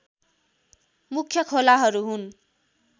मुख्य खोलाहरू हुन्